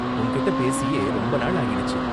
உன்கிட்டே பேசியே ரொம்ப நாள் ஆகிடுச்சு.